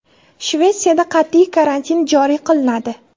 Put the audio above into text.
Shvetsiyada qat’iy karantin joriy qilinadi.